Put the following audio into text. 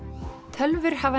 tölvur hafa